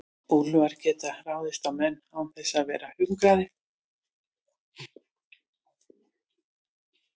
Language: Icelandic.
úlfar geta ráðist á menn án þess að vera hungraðir